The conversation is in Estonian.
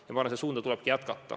Ma arvan, et seda suunda tulebki hoida.